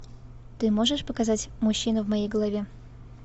ты можешь показать мужчина в моей голове